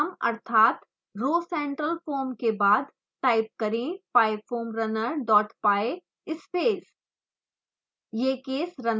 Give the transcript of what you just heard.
solver के नाम अर्थात rhocentralfoam के बाद टाइप करें pyfoamrunner dot py space